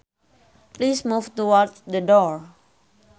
Please move towards the door